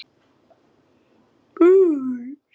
Höskuldur Kári: Þér finnst það ósanngjarnt?